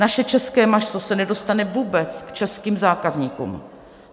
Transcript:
Naše české maso se nedostane vůbec k českým zákazníkům.